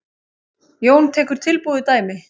Jón tekur tilbúið dæmi.